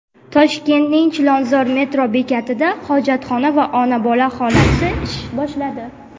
Toshkentning Chilonzor metro bekatida hojatxona va ona-bola xonasi ish boshladi.